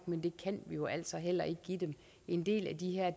men det kan vi jo altså heller ikke give dem en del af de her